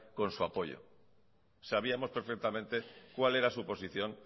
con su apoyo sabíamos perfectamente cuál era su posición